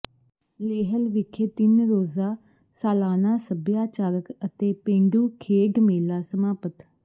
ਲੇਹਲ ਵਿਖੇ ਤਿੰਨ ਰੋਜ਼ਾ ਸਾਲਾਨਾ ਸੱਭਿਆਚਾਰਕ ਅਤੇ ਪੇਂਡੂ ਖੇਡ ਮੇਲਾ ਸਮਾਪਤ